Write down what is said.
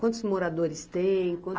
Quantos moradores tem? Quan